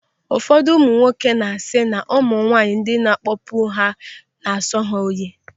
Ụfọdụ ụmụ nwoke na-asị na ụmụ nwaanyị ndị na-akpọpu ahụ na-asọ ha oyi.